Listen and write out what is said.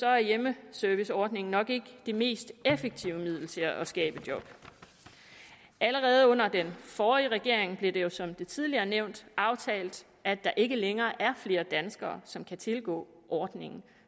er hjemmeserviceordningen nok ikke det mest effektive middel til at skabe job allerede under den forrige regering blev det jo som tidligere nævnt aftalt at der ikke længere er flere danskere som kan tilgå ordningen